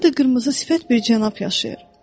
Orada qırmızı sifət bir cənab yaşayır.